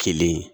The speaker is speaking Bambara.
Kelen